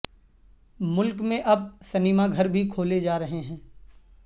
ملک میں اب سنیما گھر بھی کھولے جا رہے ہیں